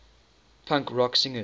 punk rock singers